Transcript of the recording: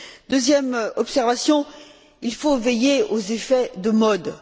Deuxième observation il faut veiller aux effets de mode.